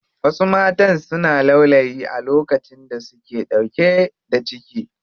Wasu matan suna laulayi a lokacin da suke ɗauke da ciki.